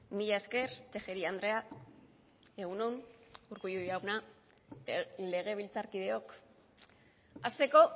mila esker tejeria andrea egun on urkullu jauna legebiltzarkideok hasteko